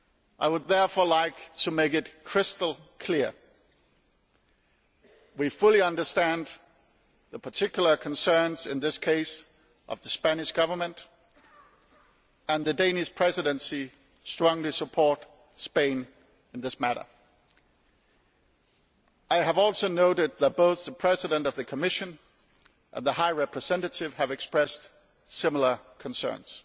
I would therefore like to make it crystal clear that we fully understand the particular concerns, in this case of the Spanish Government, and that the Danish Presidency strongly supports Spain in this matter. I have also noted that both the President of the Commission and the High Representative have expressed similar concerns.